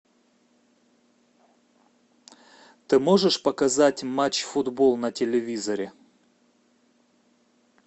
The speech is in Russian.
ты можешь показать матч футбол на телевизоре